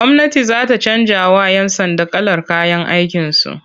Gwamnati za ta canjawa'yan sanda kalar kayan aikinsu.